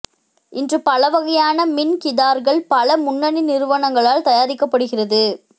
இன்று பலவகையான மின் கிதார்கள் பல முன்னணி நிறுவனங்களால் தயாரிக்கப்படுகிறது